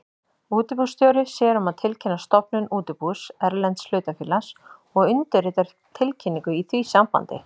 Útibússtjóri sér um að tilkynna stofnun útibús erlends hlutafélags og undirritar tilkynningu í því sambandi.